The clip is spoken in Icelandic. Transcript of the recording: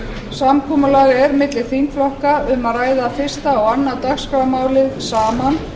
samkomulag er milli þingflokka að ræða fyrsta og önnur dagskrármálin saman